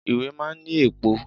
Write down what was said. Ìwé máa ń ní èpo.